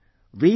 Friends,